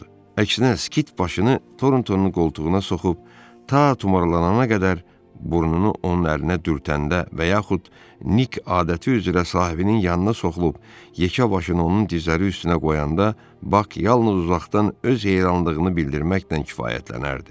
Əksinə, Skit başını Torontonun qoltuğuna soxub ta tumarlanana qədər burnunu onun əlinə dürtəndə və yaxud Nik adəti üzrə sahibinin yanına soxulub yekə başını onun dizləri üstünə qoyanda Bak yalnız uzaqdan öz heyranlığını bildirməklə kifayətlənərdi.